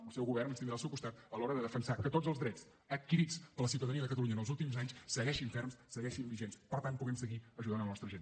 el seu govern ens tindrà al seu costat a l’hora de defensar que tots els drets adquirits per la ciutadania de catalunya en els últims anys segueixin ferms segueixin vigents per tant que puguem seguir ajudant la nostra gent